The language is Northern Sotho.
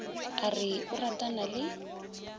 a re o ratana le